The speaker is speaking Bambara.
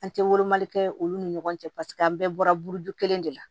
An tɛ kɛ olu ni ɲɔgɔn cɛ paseke an bɛɛ bɔra buruju kelen de la